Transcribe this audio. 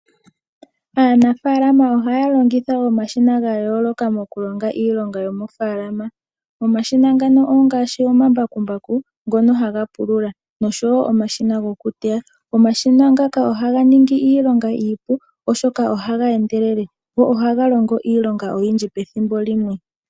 Aanafaalama oha ya longitha omashina ga yooloka moku longa iilonga yomo faalama. Omashina ngano ongaashi:omambakumbaku, ngono haga pulula nosho woo omashina gokuteya. Omashina ngaka oha ga ningi iilonga iipu oshoka oha ga endelele, go oha ga longo iilonga oyindji pethimbo limwe.